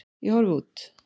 Ég horfi út.